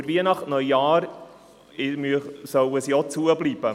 Auch über Weihnachten und Neujahr sollen sie geschlossen bleiben.